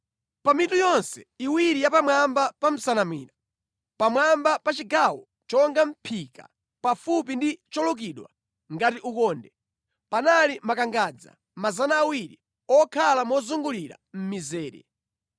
Pa mitu yonse iwiri ya pamwamba pa nsanamira, pamwamba pa chigawo chonga mʼphika pafupi ndi cholukidwa ngati ukonde, panali makangadza 200 okhala mozungulira mʼmizere.